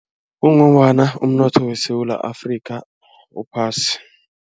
Kungombana umnotho weSewula Afrika uphasi.